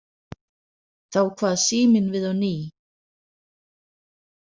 Þá kvað síminn við á ný.